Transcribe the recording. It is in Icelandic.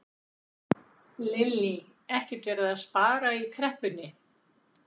Lillý: Ekkert verið að spara í kreppunni?